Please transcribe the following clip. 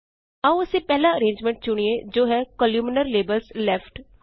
ਆਓ ਅਸੀਂ ਪਹਿਲਾ ਅਰੇਨਜਮੈਂਟ ਚੁਣਿਏ ਜੋ ਹੈ ਕੋਲਮਨਾਰ - ਲੇਬਲਜ਼ left